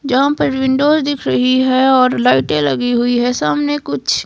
जहां पर विंडोज़ दिख रही है और लाइटें लगी हुई है सामने कुछ--